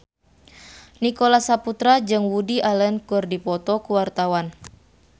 Nicholas Saputra jeung Woody Allen keur dipoto ku wartawan